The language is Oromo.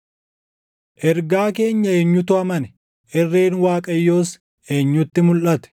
Ergaa keenya eenyutu amane? Irreen Waaqayyoos eenyutti mulʼate?